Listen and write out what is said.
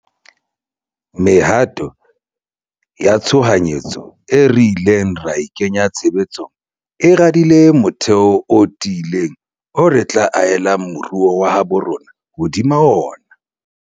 Mehato ya tshohanyetso eo re ileng ra e kenya tshebe tsong e radile motheo o ti ileng oo re tla ahella moruo wa habo rona hodima ona.